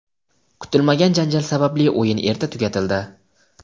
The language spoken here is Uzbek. Kutilmagan janjal sababli o‘yin erta tugatildi.